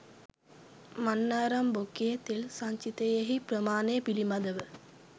මන්නාරම් බොක්කේ තෙල් සංචිතයෙහි ප්‍රමාණය පිළිබඳව